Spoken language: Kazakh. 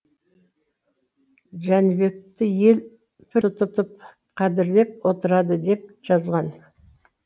жәнібекті ел пір тұтып қадірлеп отырады деп жазған